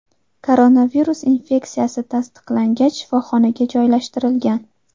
Koronavirus infeksiyasi tasdiqlangach, shifoxonaga joylashtirilgan.